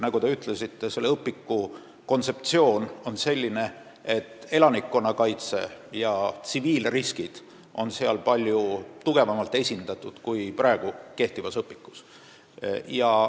Nagu te ütlesite, selle õpetuse kontseptsioon on selline, et elanikkonnakaitse ja tsiviilriskid on uues õpikuks palju tugevamalt esindatud kui praeguses õpikus.